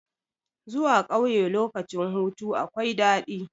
Zuwa ƙauye lokacin hutu akwai daɗi.